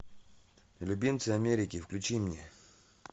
любимцы америки включи мне